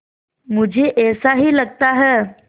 मुझे ऐसा ही लगता है